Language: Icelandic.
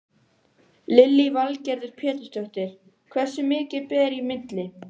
Lillý Valgerður Pétursdóttir: Hversu mikið ber í milli?